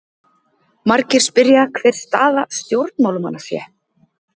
Margir spyrja hver staða stjórnarmanna sé?